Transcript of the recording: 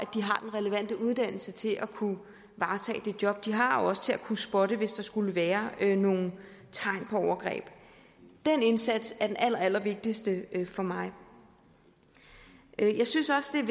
relevante uddannelse til at kunne varetage det job de har og også til at kunne spotte hvis der skulle være nogle tegn på overgreb den indsats er den allerallervigtigste for mig jeg synes også det er